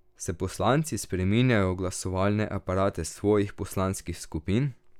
Se poslanci spreminjajo v glasovalne aparate svojih poslanskih skupin?